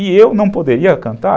E eu não poderia cantar?